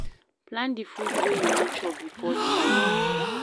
Plan di food wey you wan chop before di day